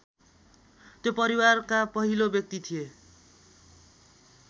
त्यो परिवारका पहिलो व्यक्ति थिए